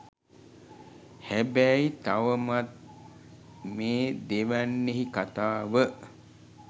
හැබැයි තවමත් මෙ දෙවැන්නෙහි කතාව